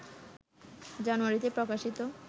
জানুয়ারিতে প্রকাশিত